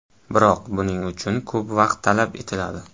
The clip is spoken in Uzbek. Biroq buning uchun ko‘p vaqt talab etiladi.